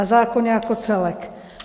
A zákon jako celek.